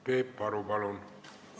Peep Aru, palun!